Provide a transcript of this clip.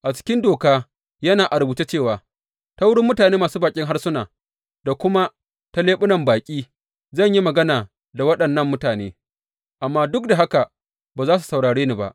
A cikin Doka yana a rubuce cewa, Ta wurin mutane masu baƙin harsuna da kuma ta leɓunan baƙi zan yi magana da waɗannan mutane, amma duk da haka, ba za su saurare ni ba,